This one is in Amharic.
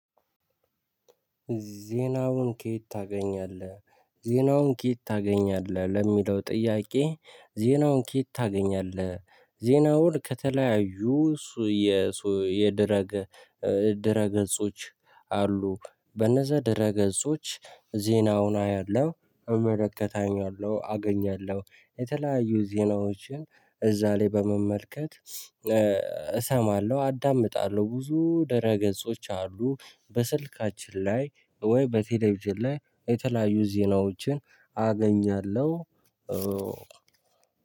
ዜናውን ከየት ታገኛለህ? ዜናውን ከየት ታገኛለህ ለሚለው ጥያቄ? ዜናውን ከየት ታገኛለህ ዜናውን ከተለያዩ። የድረገጽ ድረ ገጾች አሉ በነዛ ድረ ገጾች ዜናውን አያለሁ እመለከታለሁ አገኛለሁ። የተለያዩ ዜናዎችን እዛ ላይ በመመልከት እሰማለሁ አዳምጣለሁ ብዙ ደረ ገጾች አሉ። በስልካችን ላይ ወይ በቴሌቪዥን ላይ የተለያዩ ዜናዎችን አገኛለሁ።